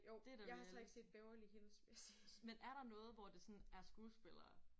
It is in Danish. Det da reality. Men er der noget hvor det sådan er skuespillere?